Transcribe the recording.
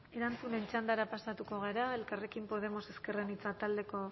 erantzunen txandara pasatuko gara elkarrekin podemos ezker anitza taldearen